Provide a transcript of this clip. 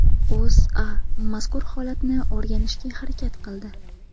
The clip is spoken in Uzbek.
O‘zA mazkur holatni o‘rganishga harakat qildi .